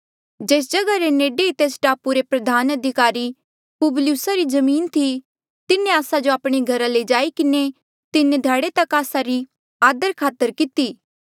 तेस जग्हा रे नेडे ई तेस टापू रे प्रधान अधिकारी पुबलियुसा री जमीन थी तिन्हें आस्सा जो आपणे घरा लई जाई किन्हें तीन ध्याड़े तक आस्सा रे आदरखातर कितेया